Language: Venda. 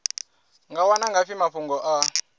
nga wana ngafhi mafhungo a